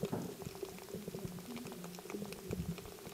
включай хидена на ютьюбе